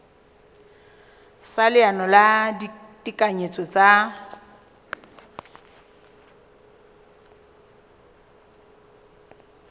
sa leano la ditekanyetso tsa